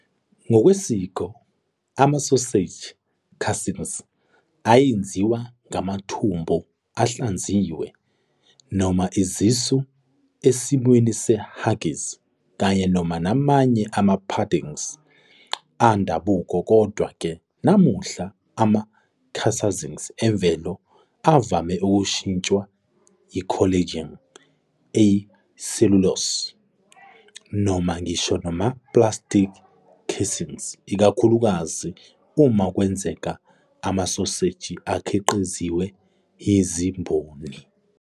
Ngokwesiko, ama-sausage casings ayenziwa ngamathumbu ahlanziwe, noma izisu esimweni se- haggis kanye namanye ama-puddings endabuko. Kodwa-ke, namuhla, ama-casings emvelo avame ukushintshwa yi- collagen, i- cellulose, noma ngisho nama-plastic casings, ikakhulukazi uma kwenzeka amasoseji akhiqizwa yizimboni.